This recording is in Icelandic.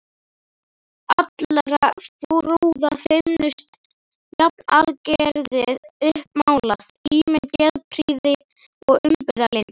allra brúða feimnust, jafnaðargeðið uppmálað, ímynd geðprýði og umburðarlyndis.